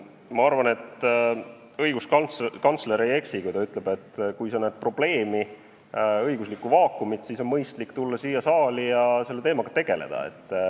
Ma arvan, et õiguskantsler ei eksi, kui ta ütleb, et kui sa näed probleemi, õiguslikku vaakumit, siis on mõistlik tulla siia saali ja selle teemaga tegeleda.